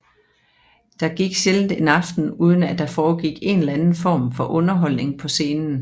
Der gik sjældent en aften uden at der foregik en eller anden form for underholdning på scenen